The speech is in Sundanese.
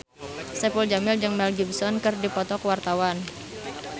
Saipul Jamil jeung Mel Gibson keur dipoto ku wartawan